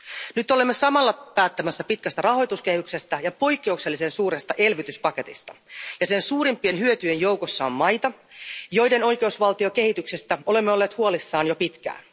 Nyt olemme samalla päättämässä pitkästä rahoituskehyksestä ja poikkeuksellisen suuresta elvytyspaketista, ja sen suurimpien hyötyjien joukossa on maita, joiden oikeusvaltiokehityksestä olemme olleet huolissaan jo pitkään.